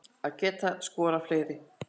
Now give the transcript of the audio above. Hefði getað skorað fleiri